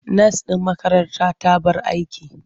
Nas ɗin makaranta ta bar aiki.